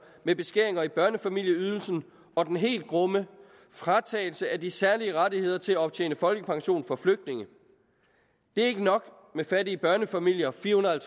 med beskæringer i børnefamilieydelsen og den helt grumme fratagelse af de særlige rettigheder til at optjene folkepension for flygtninge det er ikke nok med fattige børnefamilier fire hundrede og